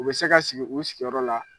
U bɛ se ka sigi u sigiyɔrɔ la.